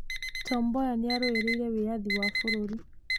Tom Mboya nĩ arũĩrĩire wĩyathi wa bũrũri.